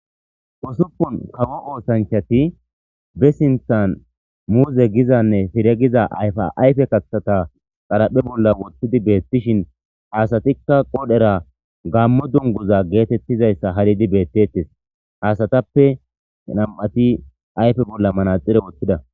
osupun kawo oosanchati be sinthan muuze gizanne fire giza ayfa ayfe kathata xalaphe bolla woththidi beettishin hasatikka qodhera gammo dunguza geetettizayssa halidi beettettes hasatappe nam7ati ayfe bolla manaxire wothidaa